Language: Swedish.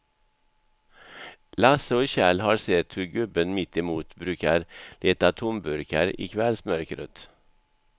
Lasse och Kjell har sett hur gubben mittemot brukar leta tomburkar i kvällsmörkret.